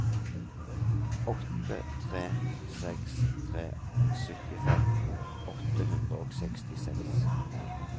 åtte tre seks tre syttifem åtte hundre og sekstiseks